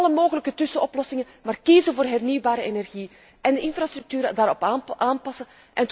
Niet alle mogelijke tussenoplossingen, maar kiezen voor hernieuwbare energie en de infrastructuren daarop aanpassen.